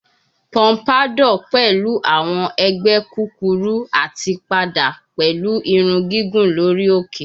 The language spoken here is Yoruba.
Pompadour pẹlu awọn ẹgbẹ kukuru ati pada pẹlu irun gigun lori oke